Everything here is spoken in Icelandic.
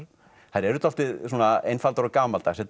þær eru dálítið svona einfaldar og gamaldags